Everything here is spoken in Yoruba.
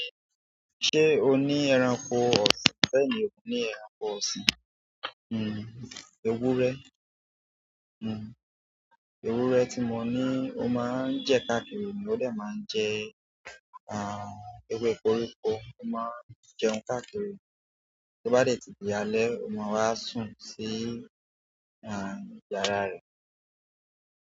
Ṣé o ní ẹranko ọ̀sìn? Bẹ́ẹ̀ni, mo ní ẹranko ọ̀sìn, hm, ewúrẹ́. Hm, ewúrẹ́ tí mo ní ó máa ń jẹ káàkiri ni ó dè máa ń jẹ, ah, ewé koríko, ó máa ń jẹun káàkiri. Bí ó bá dè tí álé, ó máa wá sùn sí, ah, yàrá rẹ̀.